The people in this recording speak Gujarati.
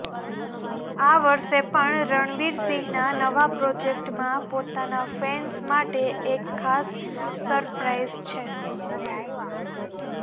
આ વર્ષે પણ રણવીર સિંહના નવા પ્રોજેક્ટમાં પોતાના ફેન્સ માટે એક ખાસ સરપ્રાઇઝ છે